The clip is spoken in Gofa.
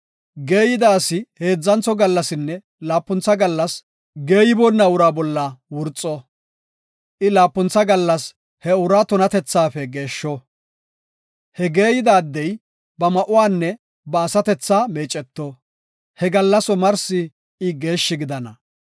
Geeyida asi heedzantho gallasinne laapuntha gallas geeyiboonna uraa bolla wurxo. I laapuntha gallas he uraa tunatethaafe geeshsho; he geeyida addey, ba ma7uwanne ba asatethaa meeceto; he gallas omarsi I geeshshi gidana.